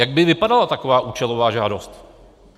Jak by vypadala taková účelová žádost?